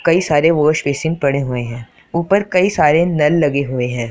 कई सारे wash basin पड़े हुए हैं ऊपर कई सारे नल लगे हुए हैं।